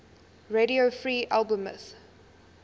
radio free albemuth